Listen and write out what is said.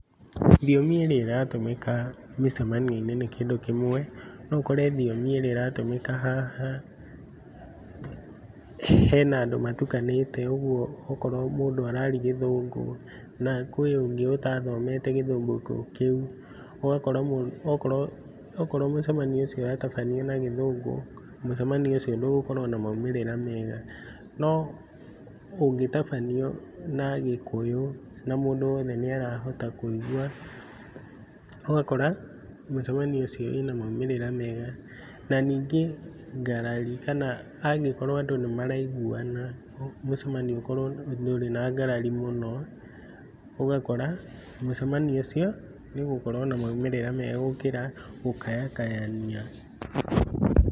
Thiomi ĩrĩa ĩratũmĩka mĩcamanio-inĩ nĩ kĩndũ kĩmwe. No ũkore thiomi ĩrĩa ĩratũmĩka haha, hena andũ matukanĩte. ũguo okorwo mũndũ araria gĩthũngũ na kwĩ na ũngĩ ũtathomete gĩthũngũ kĩu, ũgakora mũndũ okorwo okorwo mũcamanio ũcio ũratabanio na gĩthũngũ, mũcamanio ũcio ndũgũkorwo na maumĩrĩra mega. No ũngĩtabanio na gĩkũyũ na mũndũ wothe nĩarahota kũigua, ũgakora mũcamanio ũcio wĩ na maumĩrĩra mega. Na ningĩ ngarari, kana angakorwo andũ nĩmaraiguana mũcamanio ũkorwo ndũrĩ na ngarari mũno, ũgakora mũcamanio ũcio nĩũgũkorwo na maumĩrĩra mega gũkĩra gũkayakayania.